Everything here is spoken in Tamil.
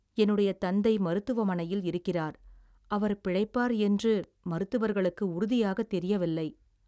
என்னுடைய தந்தை மருத்துவமனையில் இருக்கிறார், அவர் பிழைப்பார் என்று மருத்துவர்களுக்கு உறுதியாக தெரியவில்லை.